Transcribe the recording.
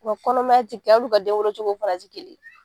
U kɔnɔmaya ti kelen ye, hali u ka den wolo cogo fana ti kelen ye.